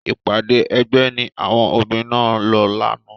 Ìpàdé ẹgbẹ́ ni àwọn obìnrin náà lọ lánàá.